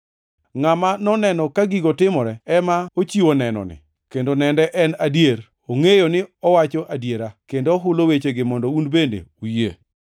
Ngʼama noneno ka gigo timore ema ochiwo nenoni kendo nende en adier. Ongʼeyo ni owacho adiera, kendo ohulo wechegi mondo un bende uyie.